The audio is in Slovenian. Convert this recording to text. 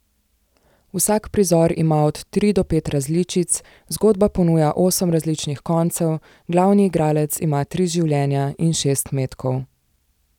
Vsak prizor ima od tri do pet različic, zgodba ponuja osem različnih koncev, glavni igralec ima tri življenja in šest metkov.